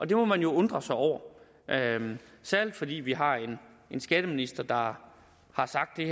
det må man jo undre sig over særlig fordi vi har en skatteminister der har sagt at